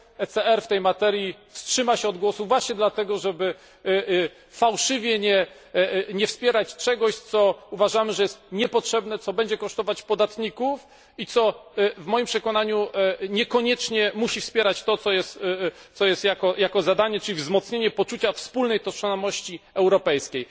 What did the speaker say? ECR w tej materii wstrzyma się od głosu, właśnie dlatego, żeby fałszywie nie wspierać czegoś, co uważamy, że jest niepotrzebne, co będzie kosztować podatników i co, w moim przekonaniu, niekoniecznie musi wspierać to, co jest jego zadaniem, czyli wzmocnienie poczucia wspólnej tożsamości europejskiej.